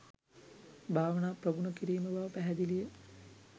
භාවනා ප්‍රගුණ කිරීම බව පැහැදිලි ය